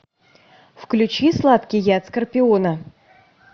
включи сладкий яд скорпиона